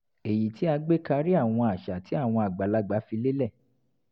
èyí tí a gbé karí àwọn àṣà tí àwọn àgbàlagbà fi lélẹ̀